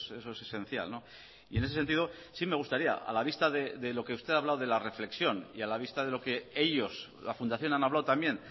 eso es esencial y en ese sentido sí me gustaría a la vista de lo que usted ha hablado de la reflexión y a la vista de lo que ellos la fundación han hablado también